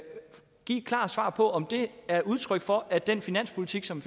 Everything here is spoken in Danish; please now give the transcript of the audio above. give et klart svar på om det er udtryk for at den finanspolitik som